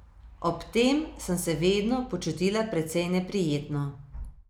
Ob tem sem se vedno počutila precej neprijetno.